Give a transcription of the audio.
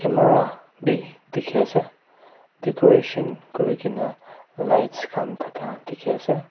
bi dikhiase decoration kurikena lights khan thaka dikhiase.